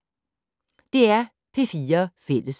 DR P4 Fælles